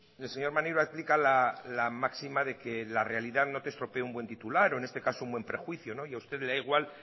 el señor maneiro aplica la máxima de que la realidad no te estropee un buen titular o en este caso un buen prejuicio y a usted le da igual